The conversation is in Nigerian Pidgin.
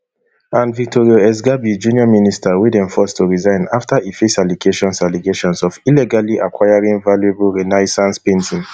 and vittorio sgarbi junior minister wey dem force to resign afta e face allegations allegations of illegally acquiring valuable renaissance painting